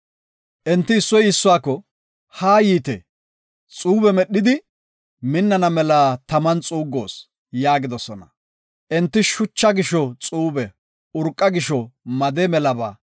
Enti issoy issuwako, “Haa yiite, xuube medhidi, minnana mela taman xuuggoos” yaagidosona. Enti shucha gisho xuube, urqa gisho made melaba,